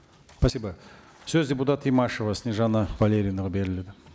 спасибо сөз депутат имашева снежанна валерьевнаға беріледі